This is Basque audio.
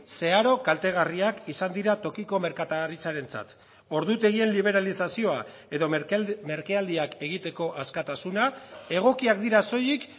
zeharo kaltegarriak izan dira tokiko merkataritzarentzat ordutegien liberalizazioa edo merkealdiak egiteko askatasuna egokiak dira soilik